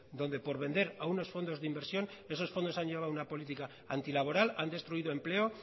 donde por vender a unos fondos de inversión esos fondos han llevado una política antilaboral han destruido empleo